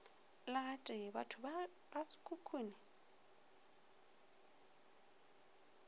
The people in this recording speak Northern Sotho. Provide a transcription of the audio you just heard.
le gatee bathong ba gasekhukhune